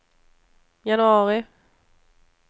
januari